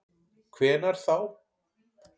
Hvenær þá?